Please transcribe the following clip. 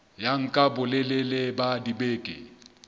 ya nka bolelele ba dibeke